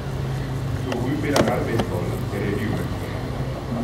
tug mpira mar basebal e redio maduong